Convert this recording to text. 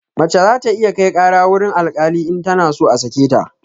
Mace za ta iya kai ƙara wurin alkali in tana so a sake ta